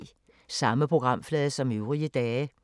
Samme programflade som øvrige dage